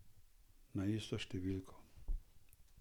Na isto številko.